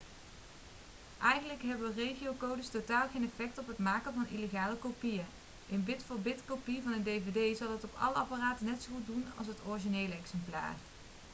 eigenlijk hebben regiocodes totaal geen effect op het maken van illegale kopieën een bit-voor-bit-kopie van een dvd zal het op alle apparaten net zo goed doen als het originele exemplaar